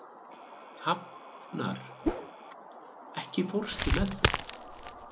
Hafnar, ekki fórstu með þeim?